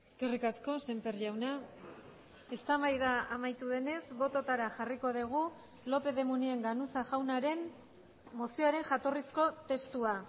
eskerrik asko sémper jauna eztabaida amaitu denez bototara jarriko dugu lópez de munain ganuza jaunaren mozioaren jatorrizko testua